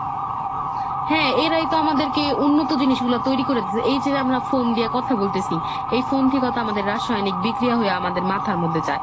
হ্যাঁ এরাই তো আমাদেরকে উন্নত জিনিস গুলা তৈরি করে দিচ্ছে, এই যে আমরা phone দিয়ে কথা বলতেছি phone থেকে তো আমাদের রাসায়নিক বিক্রিয়া হয়ে আমাদের মাথার মধ্যে যায়।